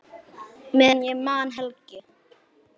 Meðan ég man, Helgi.